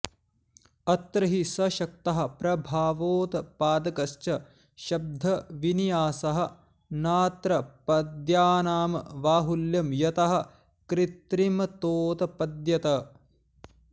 अत्र हि सशक्तः प्रभावोत्पादकश्च शब्दविन्यासः नात्र पद्यानां बाहुल्यं यतः कृत्रिमतोत्पद्यत